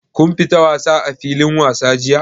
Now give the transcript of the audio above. Kun fita wasa a filin wasa jiya?